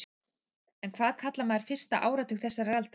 En hvað kallar maður fyrsta áratug þessarar aldar?